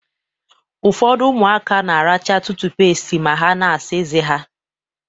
Ụfọdụ ụmụaka na-aracha tụtụpést ma ha na-asa ezé ha.